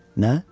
Nə?